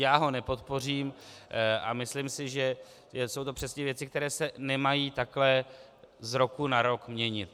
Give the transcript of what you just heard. Já ho nepodpořím a myslím si, že jsou to přesně věci, které se nemají takhle z roku na rok měnit.